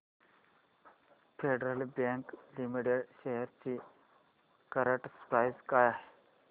federal bank limited shares ची current price काय आहे